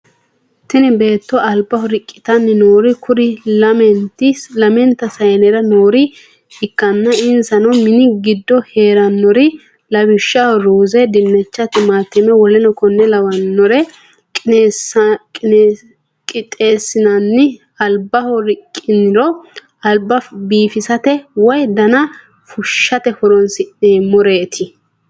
tini beetto albaho riqqitanni noori kuri lamente sayinera noore ikkanna insano mini giddo heerannorin lawishshaho ruuze, dinnicha, timatime w.k.l qixxeesinena albaho riqqiniro alba biifisate woy dana fushshatehoronsi'nemoreet.